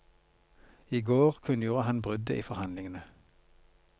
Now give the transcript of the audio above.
I går kunngjorde han bruddet i forhandlingene.